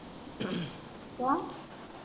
ਕਿਉਂ।